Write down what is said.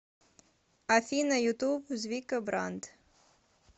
афина ютуб звика бранд